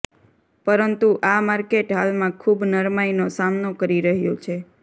પરંતુ આ માર્કેટ હાલમાં ખૂબ નરમાઈનો સામનો કરી રહ્યું છે